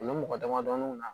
U bɛ mɔgɔ damadɔni na